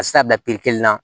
Ka se a bila kelen na